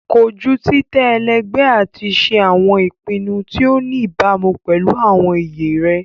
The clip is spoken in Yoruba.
Koju titẹ ẹlẹgbẹ ati ṣe awọn ipinnu ti o ni ibamu pẹlu awọn iye rẹ